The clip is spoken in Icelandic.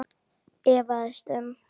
efaðist um